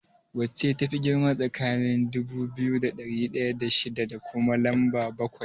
Wacce tafi girma tsakaniin dubu biyu da ɗari ɗaya da shida da kuma lamba bakwai?